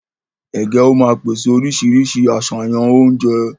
Ègé ó má pèsè oríṣiríṣi àṣàyàn oúnjẹ